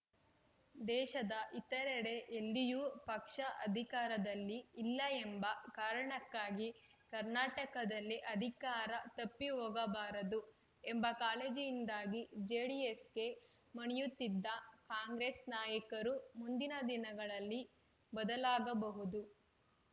ದೇಶದ ಇತರೆಡೆ ಎಲ್ಲಿಯೂ ಪಕ್ಷ ಅಧಿಕಾರದಲ್ಲಿ ಇಲ್ಲ ಎಂಬ ಕಾರಣಕ್ಕಾಗಿ ಕರ್ನಾಟಕದಲ್ಲಿ ಅಧಿಕಾರ ತಪ್ಪಿಹೋಗಬಾರದು ಎಂಬ ಕಾಳಜಿಯಿಂದಾಗಿ ಜೆಡಿಎಸ್‌ಗೆ ಮಣಿಯುತ್ತಿದ್ದ ಕಾಂಗ್ರೆಸ್‌ ನಾಯಕರು ಮುಂದಿನ ದಿನಗಳಲ್ಲಿ ಬದಲಾಗಬಹುದು